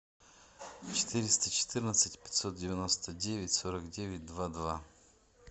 четыреста четырнадцать пятьсот девяносто девять сорок девять два два